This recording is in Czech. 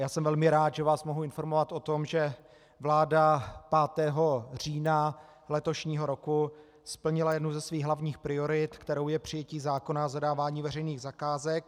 Já jsem velmi rád, že vás mohu informovat o tom, že vláda 5. října letošního roku splnila jednu ze svých hlavních priorit, kterou je přijetí zákona o zadávání veřejných zakázek.